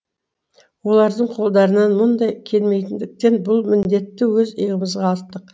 олардың қолдарынан мұндай келмейтіндіктен бұл міндетті өз иығымызға арттық